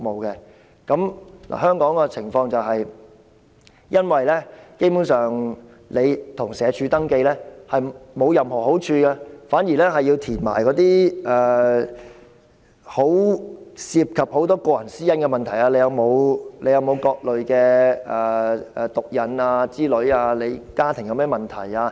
而香港的情況是露宿者向社署登記，基本上並無任何好處，反而要填寫很多涉及個人私隱的資料，例如是否有各類毒癮、家庭有甚麼問題等。